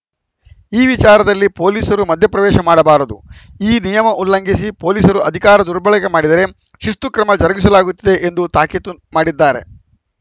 ಈ ವಿಚಾರದಲ್ಲಿ ಪೊಲೀಸರು ಮಧ್ಯಪ್ರವೇಶ ಮಾಡಬಾರದು ಈ ನಿಯಮ ಉಲ್ಲಂಘಿಸಿ ಪೊಲೀಸರು ಅಧಿಕಾರ ದುರ್ಬಳಕೆ ಮಾಡಿದರೆ ಶಿಸ್ತು ಕ್ರಮ ಜರುಗಿಸಲಾಗುತ್ತದೆ ಎಂದು ತಾಕೀತು ಮಾಡಿದ್ದಾರೆ